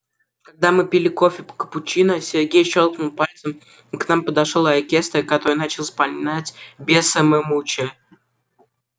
когда мы пили кофе капучино сергей щёлкнул пальцем и к нам подошёл оркестр который начал вспоминать бесса ме мучо